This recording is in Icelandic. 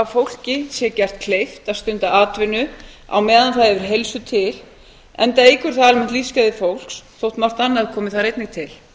fólki sé gert kleift að stunda atvinnu á meðan það hefur heilsu til enda eykur það almennt lífsgæði fólks þótt margt annað komi þar einnig til